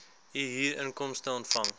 u huurinkomste ontvang